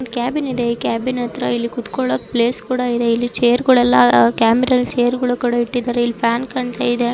Cabin ಇದೆ cabin ಹತ್ರ ಇಲ್ಲಿ ಕೂತ್ಕೊಳ್ಳೋಕೆ ಪ್ಲೇಸ್ ಕೂಡ ಇದ ಇಲ್ಲಿ ಚೇರ್ಗ ಳೆಲ್ಲ ಕ್ಯಾಬಿನ ಲ್ಲಿ ಚೇರ್ ಕೂಡ ಇಟ್ಟಿದ್ದಾರೆ ಇಲ್ಲಿ ಫ್ಯಾನ್ ಕಾಣ್ತಾ ಇದೆ .